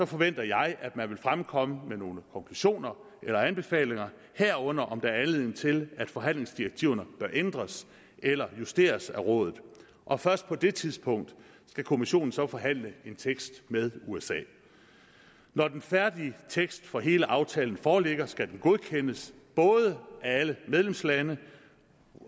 forventer jeg at man vil fremkomme med nogle konklusioner eller anbefalinger herunder om der er anledning til at forhandlingsdirektiverne bør ændres eller justeres af rådet og først på det tidspunkt skal kommissionen så forhandle en tekst med usa når den færdige tekst for hele aftalen foreligger skal den godkendes både af alle medlemslandene